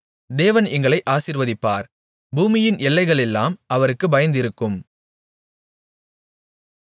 தேவன் எங்களை ஆசீர்வதிப்பார் பூமியின் எல்லைகளெல்லாம் அவருக்குப் பயந்திருக்கும்